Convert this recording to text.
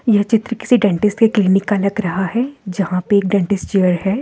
यह चित्र किसी डेंटिस्ट के क्लिनिक का लग रहा है जहां पर एक डेंटिस्ट चेयर है।